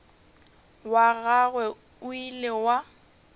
wa gagwe o ile wa